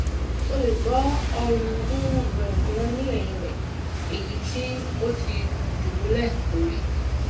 mo le gbo orun um rẹ julọ ni ẹyin rẹ eyiti o ti dubulẹ lori